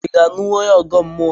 I ga-alụnwu onye ọgọ mmụọ?